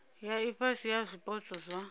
ya ifhasi ya zwipotso zwa